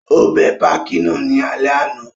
Ó bẹ pákí náà ní alẹ́ àná